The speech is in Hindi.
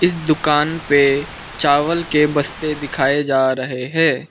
इस दुकान पे चावल की बस्ते दिखाए जा रहे है।